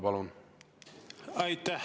Palun!